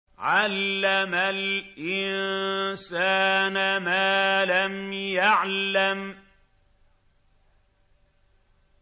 عَلَّمَ الْإِنسَانَ مَا لَمْ يَعْلَمْ